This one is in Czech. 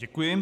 Děkuji.